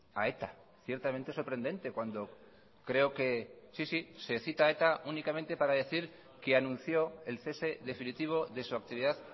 a eta ciertamente sorprendente cuando creo que sí sí se cita a eta únicamente para decir que anunció el cese definitivo de su actividad